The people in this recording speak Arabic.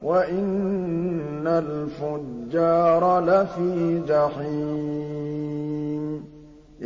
وَإِنَّ الْفُجَّارَ لَفِي جَحِيمٍ